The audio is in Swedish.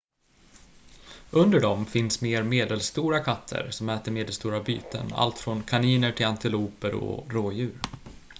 under dem finns mer medelstora katter som äter medelstora byten allt från kaniner till antiloper och rådjur